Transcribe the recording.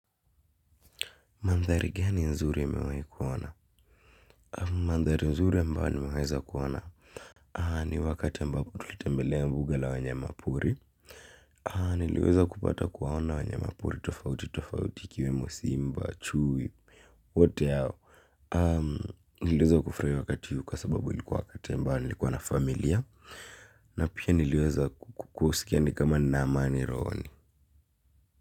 Mandhari gani nzuri umewehi kuona? Mandhari nzuri ambayo nimeweza kuona. Ni wakati ambapo tulitembelea mbuga la wanyama pori. Niliweza kupata kuwaona wanyama pori tofauti, tofauti ikiwemo simba, chui, wote hao. Niliweza kufurahia wakati huu kwa sababu ilikuwa wakati ambayo nilikuwa na familia. Na pia niliweza kusikia ni kama nina amani rohoni.